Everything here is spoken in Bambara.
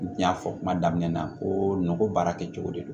N y'a fɔ kuma daminɛ na kooro baara kɛcogo de don